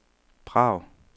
Prag